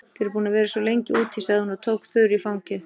Þið eruð búin að vera svo lengi úti, sagði hún og tók Þuru í fangið.